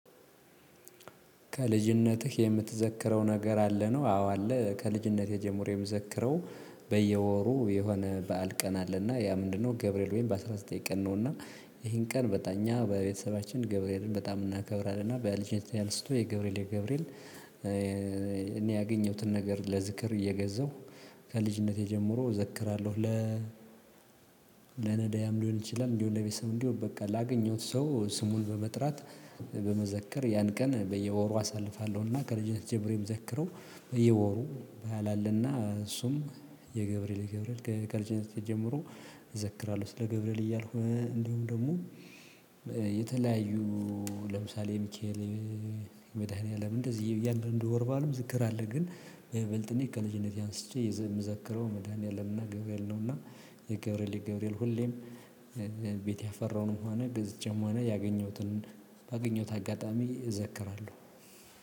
ከልጅነትህ የምትዘክረው ነገር አለ ነው? አዎ አለ ከልጅነት ጀመሬ የምዘክረው። የሆነ በዓል ቀን አለና ያ ምንድነው ገብርኤል ወይም በአስራ ዘጠኝ ቀን ነው? እና ይሄን ቀን በቃ እኛ በቤተሰባችን ገብርኤልን በጣም እናከብራለን። እና በልጅነቴ አንስቶ የገብርኤል የገብርኤል እኔ ያገኘሁትን ነገር ለዝክር እየገዛሁ ከልጅነቴ ጀምሮ እዘክራለሁ። ለነዳያን ሊሆን ይችላል። እንዲሁ ለቤተሰብ እንዲሁ በቃ ላገኘሁት ሰው ስሙን በመጥራት በመዘከር ያን ቀን በየወሩ አሳልፋለሁና ከልጅነት ጀምሮ ምዘክረው። በየወሩ ባላልና እሱም የገብርኤል የገብርኤል ከልጅነት ጀምሮ እዘክራለሁ። ስለ ገብርኤል እያልኩ እንዲሁም ደግሞ የተለያዩ ለምሳሌ ሚካኤል መድኃኒዓለም እንደዚህ እያንዳንዱ ወር አለው ዝክር አለ። ግን በልጅነት ከልጅነት አንስቼ የምዛክረው መድኃኒዓለምና ገብርኤል ነውና። የገብርኤል የገብርኤል ሁሌም ቤት ያፈራውን ም ሆኑ ገዝቼም ሆነ ያገኘሁትን ባገኘሁት አጋጣሚ ይዘክራሉ።